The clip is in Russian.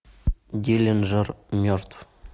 диллинджер мертв